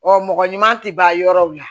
Ɔ mɔgɔ ɲuman tɛ ban yɔrɔw la